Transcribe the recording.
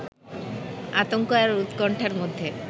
আতঙ্ক আর উৎকণ্ঠার মধ্যে